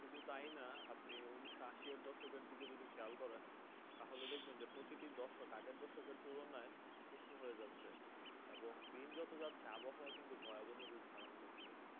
শুধু তাই না আপনি যদি উনিশোআশি এর দর্শকের দিকেও খেয়াল করেন। তাহলে দেখবেন প্রতিটি দশক আগের দশকের তুলনায় উষ্ণ হয়ে যাচ্ছে এবং দিন যত যাচ্ছে আবহাওয়া কিন্তু ভয়াবহ রূপ ধারণ করেছে।